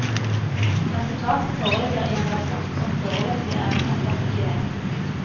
Resultatet foreligger i en rapport som foreløpig er unntatt offentlighet.